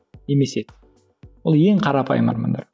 немесе ол ең қарапайым армандар